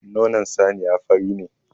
Nonon saniya fari ne.